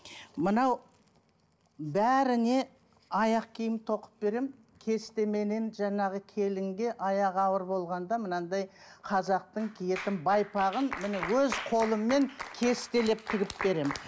мынау бәріне аяқ киім тоқып беремін кестеменен жаңағы келінге аяғы ауыр болғанда мынандай қазақтың киетін байпағын міне өз қолыммен кестелеп тігіп беремін